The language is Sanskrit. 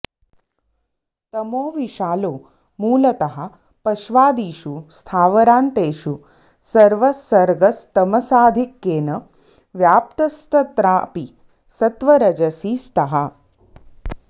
तमोविशालो मूलतः पश्वादिषु स्थावरान्तेषु सर्वःसर्गस्तमसाधिक्येन व्याप्तस्तत्रापि सत्त्वरजसी स्तः